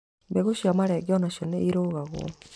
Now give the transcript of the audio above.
Mbegũ cia marenge onacio nĩ irugagwo.